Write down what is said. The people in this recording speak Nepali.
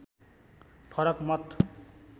फरक मत